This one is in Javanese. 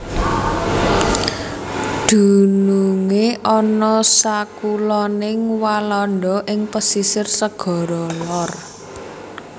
Dunungé ana sakuloning Walanda ing pesisir Segara Lor